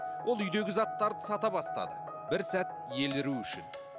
ол үйдегі заттарды сата бастады бір сәт еліру үшін